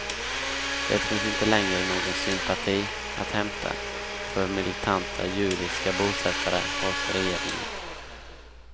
Det finns inte längre någon sympati att hämta för militanta judiska bosättare hos regeringen.